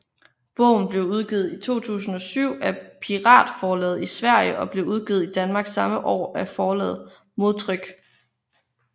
Bogen blev udgivet i 2007 af Piratforlaget i Sverige og blev udgivet i Danmark samme år af forlaget Modtryk